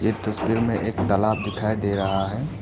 तस्वीर में एक तालाब दिखाई दे रहा है।